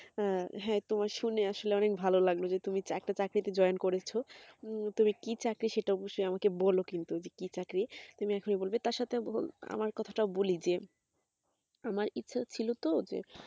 হ্যাঁ তোমার শুনে আসলে অনেক ভালো লাগলো যে তুমি একটা চাকরি তে join করেছো, তবে কি চাকরি সেটা অবশ্যই আমাকে বলো কিন্তু তো কি চাকরি তবে তার সত্বেও আমার কথা তাও বলি যে আমার ইচ্ছে ছিল তো যে